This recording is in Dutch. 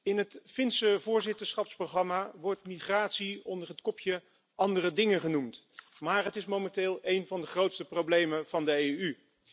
in het Finse voorzitterschapsprogramma wordt migratie onder het kopje Andere kwesties genoemd, maar migratie is momenteel een van de grootste problemen van de EU.